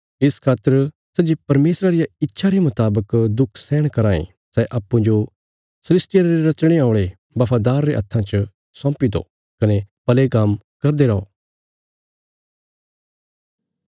इस खातर सै जे परमेशरा रिया इच्छा रे मुतावक दुख सैहण कराँ ए सै अप्पूँजो सृष्टिया रे रचणे औल़े बफादार रे हत्थां च सौंपी दो कने भले काम्म करदे रौ